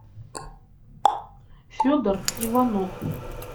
федор иванов